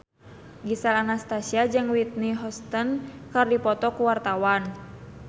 Gisel Anastasia jeung Whitney Houston keur dipoto ku wartawan